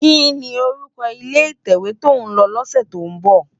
Kini órúkò ilé itèwé tó n lò lòsè tó n bò?